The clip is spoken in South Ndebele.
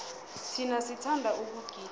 thina sithanda ukugida